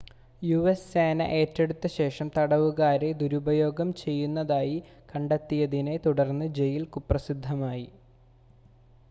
US സേന ഏറ്റെടുത്ത ശേഷം തടവുകാരെ ദുരുപയോഗം ചെയ്യുന്നതായി കണ്ടെത്തിയതിനെ തുടർന്ന് ജയിൽ കുപ്രസിദ്ധമായി